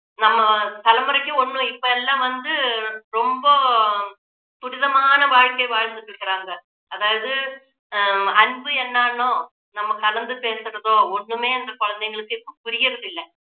நம்ம தலைமுறைக்கு ஒண்ணும் இப்போ எல்லாம் வந்து ரொம்ப துரிதமான வாழ்க்கை வாழ்ந்துட்டு இருக்குறாங்க அதாவது ஆஹ் அன்பு என்னானோ நம்ம கலந்து பேசுறதோ ஒண்ணுமே அந்த குழந்தைங்களுக்கு இப்போ புரியுறதில்லை